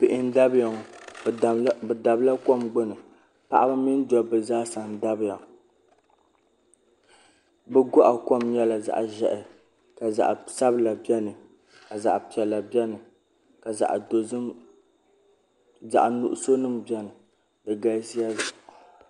Bihi n dabiya ŋɔ bi dabila kom gbuni paɣaba mini dabba zaa n dabiya bi gɔɣa kom nyɛla zaɣi zɛhi ka zaɣi sabila bɛni ka zaɣi piɛla bɛni ka zaɣi nuɣuso nima bɛni di galisiya.